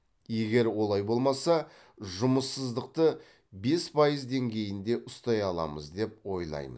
егер олай болмаса жұмыссыздықты бес пайыз деңгейінде ұстай аламыз деп ойлаймын